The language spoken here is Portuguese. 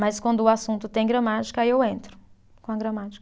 Mas quando o assunto tem gramática, aí eu entro com a gramática.